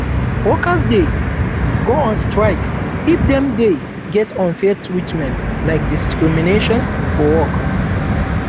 workers de go on strike if dem de get unfair treatment like discrimnation for work